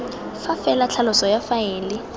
fa fela tlhaloso ya faele